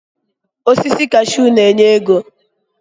Osisi kashuu na-enye ego.